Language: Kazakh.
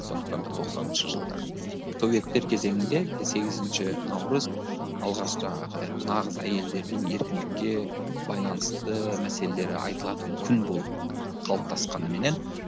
сондықтан да тоқсаныншы жылдар советтер кезеңінде сегізінші наурыз алғаш жаңағы нағыз әйелдердің еркіндікке байланысты мәселелері айтылатын күн болып қалыптасқанменен